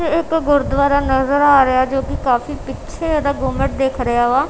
ਇਹ ਇੱਕ ਗੁਰੂਦਵਾਰਾ ਨਜ਼ਰ ਆ ਰਿਹਾ ਹੈ ਓਹਦੇ ਕਾਫੀ ਪਿੱਛੇ ਇਹਦਾ ਗੁੰਬਦ ਦਿੱਖ ਰਿਹਾ ਵਾ।